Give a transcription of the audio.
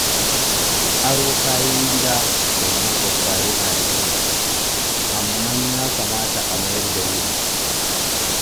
Aro kayan gida daga maƙwabta yana da kyau, amma ya kamata a mayar da wuri.